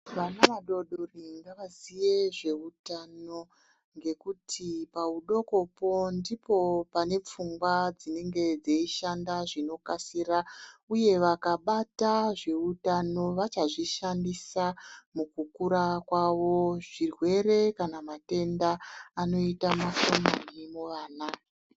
Vana vadodori ngavaziye zveutano ngekuti paudokopo ndipo pane pfungwa dzinenge dzeishanda zvinokasira, uye vakabata zveutano vachazvishandisa mukukura kwavo. Zvirwere kana matenda anoita mashomani muvana.